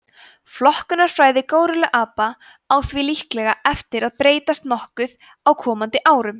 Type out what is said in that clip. flokkunarfræði górilluapa á því líklega eftir að breytast nokkuð á komandi árum